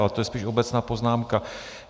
Ale to je spíš obecná poznámka.